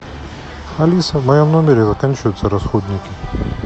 алиса в моем номере заканчиваются расходники